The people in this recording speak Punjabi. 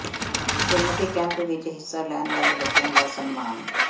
ਗੁਰਮਤਿ ਕੈਂਪ ਵਿੱਚ ਹਿੱਸਾ ਲੈਣ ਵਾਲੇ ਬੱਚਿਆਂ ਦਾ ਸਨਮਾਨ